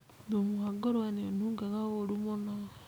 Thumu wa ngũrũe nĩ ũnungaga ũru mũno.